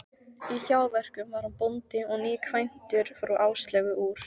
Í hjáverkum var hann bóndi og nýkvæntur frú Áslaugu úr